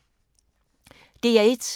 DR1